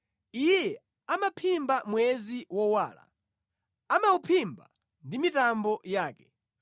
Iye amaphimba mwezi wowala, amawuphimba ndi mitambo yake.